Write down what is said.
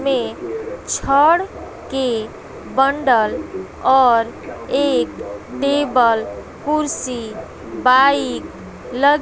में छड़ के बंडल और एक टेबल कुर्सी बाइक ल--